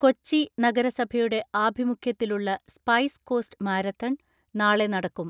കൊച്ചി നഗരസഭയുടെ ആഭിമുഖ്യത്തിലുള്ള spice coast marathon നാളെ നടക്കും.